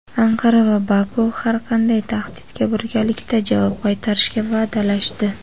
Anqara va Baku har qanday tahdidga birgalikda javob qaytarishga va’dalashdi.